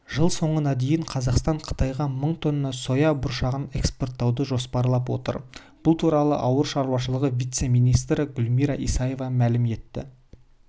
жыл соңына дейін қазақстан қытайға мың тонна соя бұршағын экспорттауды жоспарлап отыр бұл туралы ауыл шаруашылығы вице-министрі гүлмира исаева мәлім етті